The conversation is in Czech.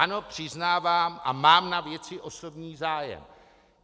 Ano, přiznávám, a mám na věci osobní zájem.